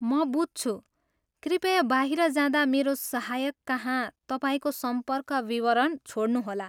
म बुझ्छु। कृपया बाहिर जाँदा मेरो सहायककहाँ तपाईँको सम्पर्क विवरण छोड्नुहोला।